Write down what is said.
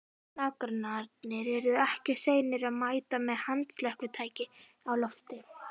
Nágrannarnir yrðu ekki seinir að mæta með handslökkvitækin á lofti.